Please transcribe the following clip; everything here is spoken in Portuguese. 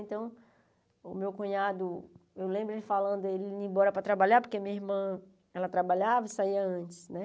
Então, o meu cunhado, eu lembro ele falando, ele ia embora para trabalhar, porque minha irmã, ela trabalhava e saía antes, né?